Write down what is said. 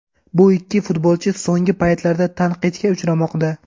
Bu ikki futbolchi so‘nggi paytlarda tanqidga uchramoqda.